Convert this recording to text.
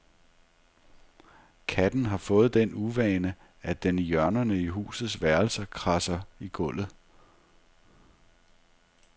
Katten har fået den uvane, at den i hjørnerne i husets værelser kradser i gulvet.